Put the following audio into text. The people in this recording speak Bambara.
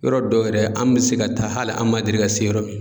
Yɔrɔ dɔw yɛrɛ an bɛ se ka taa hali an ma deli ka se yɔrɔ min